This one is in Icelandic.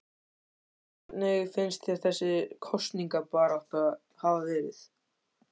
Höskuldur: Hvernig finnst þér þessi kosningabarátta hafa verið?